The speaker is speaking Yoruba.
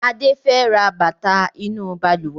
Adé fẹ ra bàtà inú Balùwẹ́